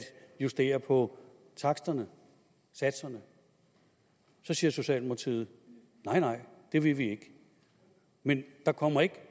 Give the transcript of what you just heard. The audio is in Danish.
justere på taksterne satserne så siger socialdemokratiet nej nej det vil vi ikke men der kommer ikke